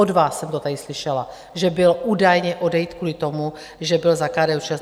Od vás jsem to tady slyšela, že byl údajně odejit kvůli tomu, že byl za KDU-ČSL.